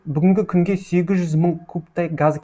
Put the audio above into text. бүгінгі күнге сегіз жүз мың кубтай газ